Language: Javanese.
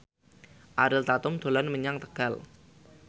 Ariel Tatum dolan menyang Tegal